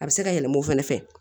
A bɛ se ka yɛlɛma o fɛnɛ fɛ